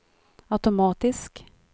automatisk